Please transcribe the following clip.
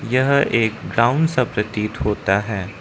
यह एक ग्राउंड सा प्रतीत होता है।